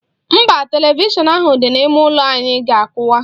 Mba, televishọn ahụ dị n'ime ụlọ anyị ga-akwụwa.